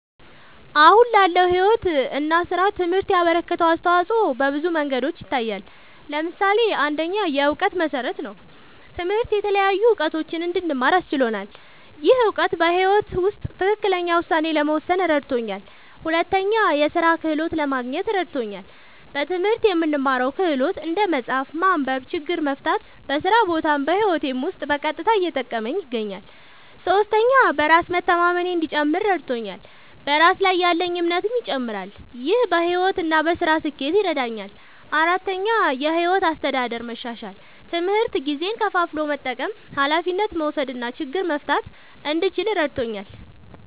አሁን ላለው ሕይወት እና ሥራ ትምህርት ያበረከተው አስተዋጾ በብዙ መንገዶች ይታያል። ምሳሌ ፩, የእውቀት መሠረት ነዉ። ትምህርት የተለያዩ እዉቀቶችን እንድማር አስችሎኛል። ይህ እውቀት በሕይወት ውስጥ ትክክለኛ ውሳኔ ለመወሰን እረድቶኛል። ፪, የሥራ ክህሎት ለማግኘት እረድቶኛል። በትምህርት የምንማረው ክህሎት (እንደ መጻፍ፣ ማንበብ፣ ችግር መፍታ) በስራ ቦታም በህይወቴም ዉስጥ በቀጥታ እየጠቀመኝ ይገኛል። ፫. በራስ መተማመኔ እንዲጨምር እረድቶኛል። በራስ ላይ ያለኝ እምነትም ይጨምራል። ይህ በሕይወት እና በሥራ ስኬት ይረዳኛል። ፬,. የሕይወት አስተዳደር መሻሻል፦ ትምህርት ጊዜን ከፋፍሎ መጠቀም፣ ኃላፊነት መውሰድ እና ችግር መፍታት እንድችል እረድቶኛል።